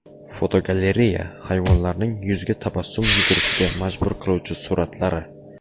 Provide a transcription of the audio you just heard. Fotogalereya: Hayvonlarning yuzga tabassum yugurishiga majbur qiluvchi suratlari.